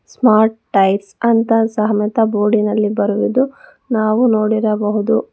Smart tyres ಅಂತ ಸಮೇತ ಬೋರ್ಡಿನಲ್ಲಿ ಬರೆದಿದ್ದು ನಾವು ನೋಡಿರಬಹುದು.